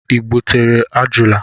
I gbutere ajụala